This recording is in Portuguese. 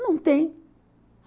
Não tem.